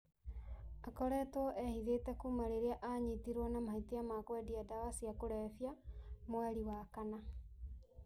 Aakoretwo ehithĩte kuuma rĩrĩa aanyitirũo na mahĩtia ma kwendia ndawa cia kũrebia mweri wa kana.